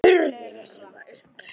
Lét hurðina snúa upp.